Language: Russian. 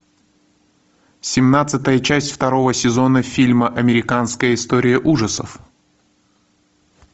семнадцатая часть второго сезона фильма американская история ужасов